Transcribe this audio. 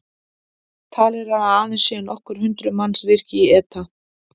Talið er að aðeins séu nokkur hundruð manns virk í ETA.